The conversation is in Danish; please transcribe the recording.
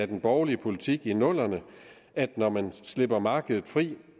den borgerlige politik i nullerne at når man slipper markedet fri